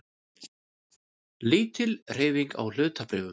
Lítil hreyfing á hlutabréfum